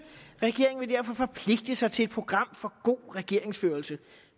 regeringen vil derfor forpligte sig til et program for god regeringsførelse